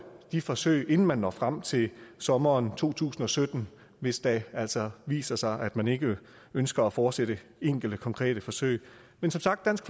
de forsøg inden man når frem til sommeren to tusind og sytten hvis det altså viser sig at man ikke ønsker at fortsætte enkelte konkrete forsøg men som sagt dansk